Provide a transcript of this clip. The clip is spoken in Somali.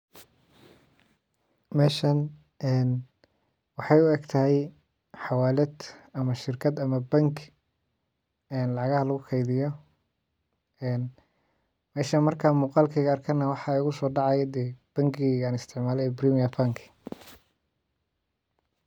Meshan waxay ee u egtahay xawalad ama shirkad ama bank lacagaha lagu qaybiyo ee meshan markan muuqalkeeda arkana waxaa igu so dacaya dee bangigeyga aan isticmaale ee kenya bank.